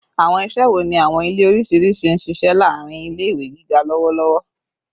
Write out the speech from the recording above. Awọn iṣẹ wo ni awọn ile oriṣiriṣi n ṣiṣẹ laarin ile-iwe giga lọwọlọwọ?